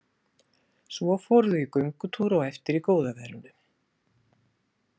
Svo fóru þau í göngutúr á eftir í góða veðrinu.